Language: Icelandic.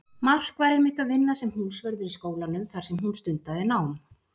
Mark var einmitt að vinna sem húsvörður í skólanum þar sem hún stundaði nám.